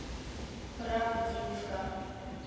правдинска